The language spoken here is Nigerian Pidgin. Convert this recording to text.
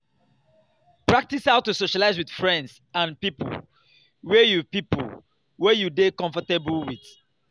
practice how to socialize with friends and pipo wey you pipo wey you dey comfortable with